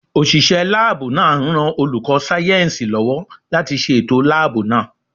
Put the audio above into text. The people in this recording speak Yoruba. Òṣìṣẹ́ láàbù náà ń ran olùkọ́ sáyẹ̀nsì lọ́wọ́ láti ṣe ètò láàbù náà